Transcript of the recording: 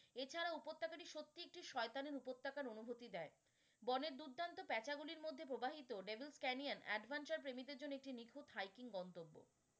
এছাড়াও উপত্যকাটি সত্যিই একটি শয়তানের উপত্যকার অনুভূতি দেয়। বনের দুর্দান্ত পেঁচা গুলির মধ্যে প্রবাহিত devil canyon adventure প্রেমীদের জন্য একটি নিখুঁত hiking গন্তব্য।